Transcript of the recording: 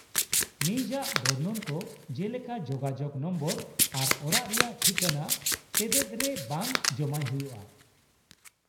-ᱱᱤᱡᱟᱜ ᱵᱚᱨᱱᱚᱱ ᱠᱚ ᱡᱮᱞᱮᱠᱟ ᱡᱳᱜᱟᱡᱳᱜᱽ ᱱᱚᱢᱵᱚᱨ ᱟᱨ ᱚᱲᱟᱜ ᱨᱮᱭᱟᱜ ᱴᱷᱤᱠᱟᱹᱱᱟ ᱛᱮᱛᱮᱫ ᱨᱮ ᱵᱟᱝ ᱡᱚᱢᱟᱭ ᱦᱩᱭᱩᱜᱼᱟ ᱾